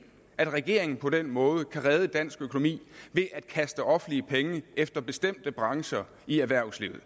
at regeringen på den måde kan redde dansk økonomi ved at kaste offentlige penge efter bestemte brancher i erhvervslivet